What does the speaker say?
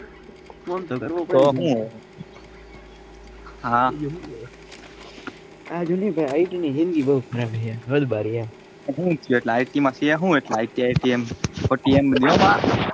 Phone તો કરવો પડે હું હવે હા આ જૂજે ભાઈ IT ની જિંદગી બહુ ખરાબ છે હદ બાર યાર એટલે IT માં સે હું IT માં ટેમ ના મળે.